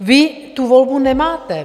Vy tu volbu nemáte.